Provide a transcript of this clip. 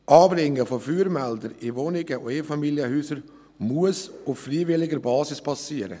Das Anbringen von Feuermeldern in Einfamilienhäusern und Wohnungen muss auf freiwilliger Basis geschehen.